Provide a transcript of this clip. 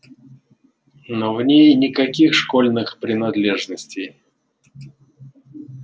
но в ней никаких школьных принадлежностей